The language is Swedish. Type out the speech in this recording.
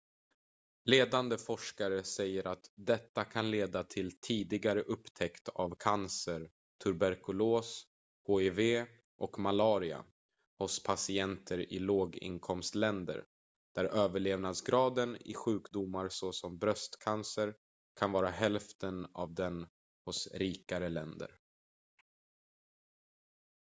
ledande forskare säger att detta kan leda till tidigare upptäckt av cancer tuberkulos hiv och malaria hos patienter i låginkomstländer där överlevnadsgraden i sjukdomar såsom bröstcancer kan vara hälften av den hos rikare länder